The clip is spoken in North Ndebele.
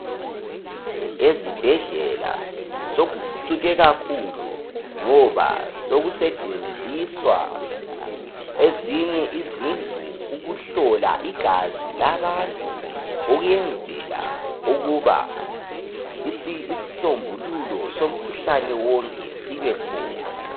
ezibhedlela sokuphucuke kakhulu ngoba sokusetshenziswa ezinye izindlu ukuhlola igazi labantu ukuyenzela ukuba isisombululo somkhuhlane wonke sibekhona